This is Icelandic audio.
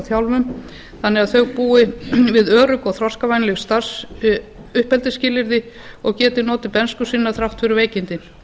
þjálfun þannig að þau búi við örugg og þroskavænleg uppeldisskilyrði og geti notið bernsku sinnar þrátt fyrir veikindin